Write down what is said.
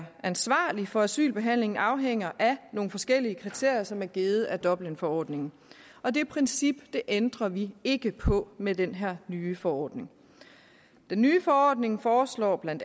er ansvarlig for asylbehandlingen afhænger af nogle forskellige kriterier som er givet af dublinforordningen og det princip ændrer vi ikke på med den her nye forordning den nye forordning foreslår bla